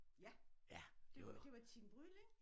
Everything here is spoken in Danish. Ja det det var Tine Bryld ik?